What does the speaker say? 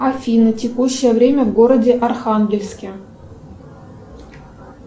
афина текущее время в городе архангельске